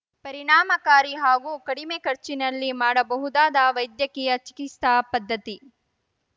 ಪರಿಣಾಮಕಾರಿ ಹಾಗೂ ಕಡಿಮೆ ಖರ್ಚಿನಲ್ಲಿ ಮಾಡಬಹುದಾದ ವೈದ್ಯಕೀಯ ಚಿಕಿತ್ಸಾ ಪದ್ಧತಿ